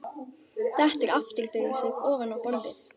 Dettur aftur fyrir sig ofan á borðið.